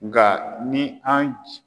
Nga ni an